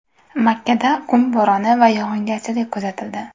Makkada qum bo‘roni va yog‘ingarchilik kuzatildi .